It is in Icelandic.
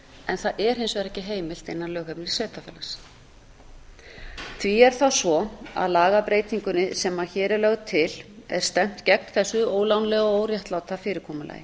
en það er hins vegar ekki heimilt innan lögheimilissveitarfélags því er það svo að lagabreytingunni sem hér er lögð til er stefnt gegn þessu ólánlega og óréttláta fyrirkomulagi